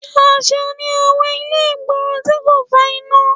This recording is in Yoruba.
Ṣàṣà ni àwọn ilé ìgboro tí kò fa iná